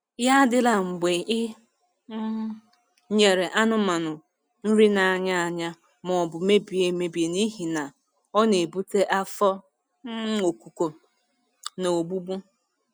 Ya adịla mgbe I um nyere anụmanụ nri n’anya anya maọbụ mebie emebi n'ihi na ọ na-ebute afọ um okuko um na ogbugbu.